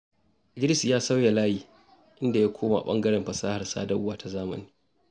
Idris ya sauyi layi, inda ya koma ɓangaren fasahar sadarwa ta zamani.